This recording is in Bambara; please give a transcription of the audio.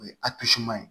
O ye ye